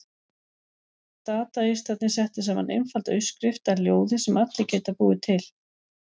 Dadaistarnir settu saman einfalda uppskrift að ljóði sem allir geta búið til.